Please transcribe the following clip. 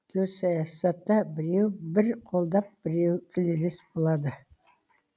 геосаясатта біреу бір қолдап біреу тілелес болады